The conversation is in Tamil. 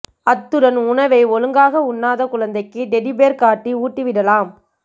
அத்துடன் உணவை ஒழுங்காக உண்ணாத குழந்தைக்கு டெடி பெர் காட்டி ஊட்டிவிடலாம்